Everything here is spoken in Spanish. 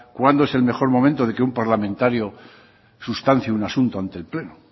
cuándo es el mejor momento de que un parlamentario sustancie un asunto ante el pleno